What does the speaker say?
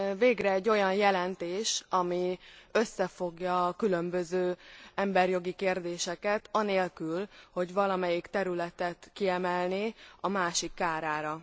Végre egy olyan jelentés, ami összefogja a különböző emberi jogi kérdéseket, anélkül, hogy valamelyik területet kiemelné a másik kárára.